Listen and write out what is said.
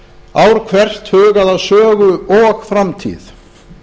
ár hvert hugað að sögu og framtíð